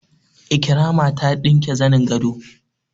Ikirama ta ɗinke zanin gado